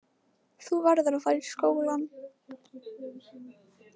Þú verður að fara í skólann.